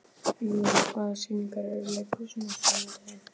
Eymundur, hvaða sýningar eru í leikhúsinu á sunnudaginn?